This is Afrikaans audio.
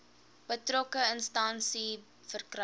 betrokke instansie verkry